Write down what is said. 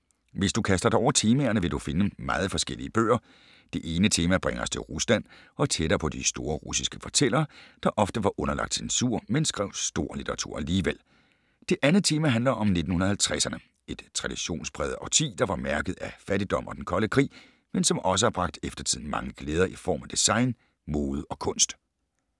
Hvis du kaster dig over temaerne, vil du finde meget forskellige bøger. Det ene tema bringer os til Rusland og tættere på de store russiske fortællere, der ofte var underlagt censur, men skrev stor litteratur alligevel. Det andet tema handler om 1950’erne. Et traditionspræget årti, der var mærket af fattigdom og Den kolde krig, men som også har bragt eftertiden mange glæder i form af design, mode og kunst.